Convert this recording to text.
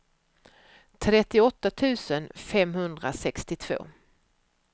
trettioåtta tusen femhundrasextiotvå